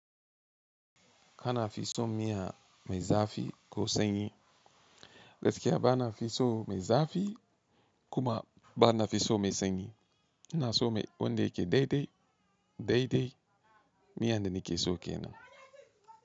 Kana fi son miya mai zafi ko sanyi. Gaskiya bana fi son mai zafi kuma bana fi son mai sanyi. Ina son mai wanda yake daidai, daidai. Miya da na ke so ke nan.